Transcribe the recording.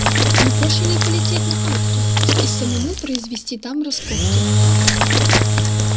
не проще ли полететь на арктур и самому произвести там раскопки